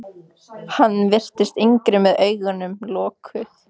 Hann virtist yngri með augun lokuð.